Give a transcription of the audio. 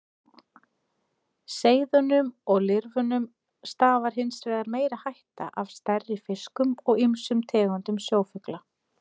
Seiðunum og lirfunum stafar hins vegar meiri hætta af stærri fiskum og ýmsum tegundum sjófugla.